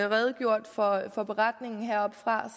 redegjort for for beretningen heroppefra